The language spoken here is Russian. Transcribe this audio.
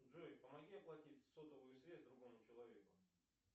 джой помоги оплатить сотовую связь другому человеку